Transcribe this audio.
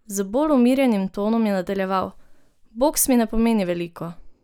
Z bolj umirjenim tonom je nadaljeval: "Boks mi ne pomeni veliko.